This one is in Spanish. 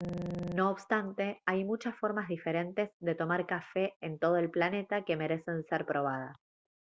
no obstante hay muchas formas diferentes de tomar café en todo el planeta que merecen ser probadas